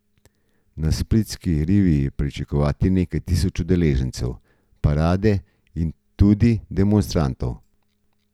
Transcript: Na splitski rivi je pričakovati nekaj tisoč udeležencev parade in tudi demonstrantov.